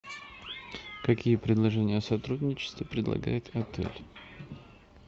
какие предложения о сотрудничестве предлагает отель